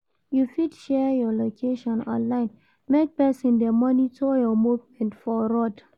You fit share you location online make persin de monitor your movement for road